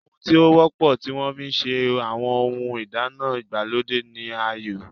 Ohun tí ó wọ́pọ̀ tí wọ́n fi ń se àwọn ohun ìdáná ìgbàlódé ni ayọ́.